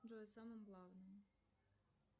джой о самом главном